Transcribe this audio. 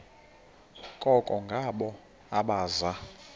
koko ngabo abaza